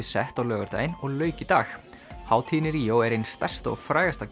sett á laugardaginn og lauk í dag hátíðin í Ríó er ein stærsta og frægasta